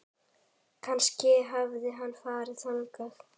Kannski hafði hann farið þangað.